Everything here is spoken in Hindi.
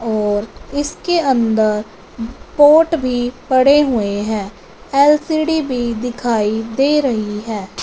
और इसके अंदर पोर्ट भी पड़े हुए हैं एल_सी_डी भी दिखाई दे रही है।